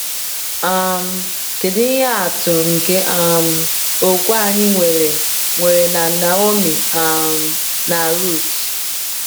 um Kedu ihe atụ nke um okwukwe anyị nwere nwere na Naomi um na Ruth?